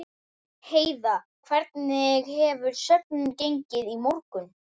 Heiða, hvernig hefur söfnunin gengið í morgun?